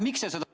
Miks?